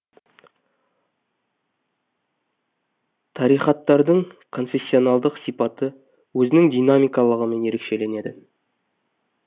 тарихаттардың конфессионалдық сипаты өзінің динамикалығымен ерекшеленеді